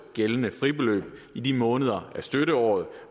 gældende fribeløb i de måneder af støtteåret